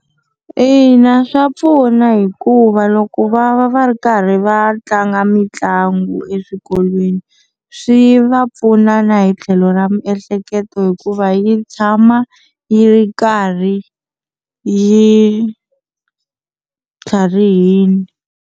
Ina swa pfuna hikuva loko va va va ri karhi va tlanga mitlangu eswikolweni swi va pfunana hi tlhelo ra miehleketo hikuva yi tshama yi karhi yi tlharihini.